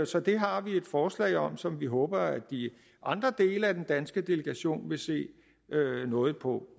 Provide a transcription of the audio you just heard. så det har vi et forslag om som vi håber at de andre dele af den danske delegation vil se nådigt på